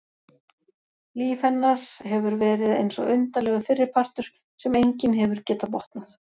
Líf hennar hefur verið eins og undarlegur fyrripartur sem enginn hefur getað botnað.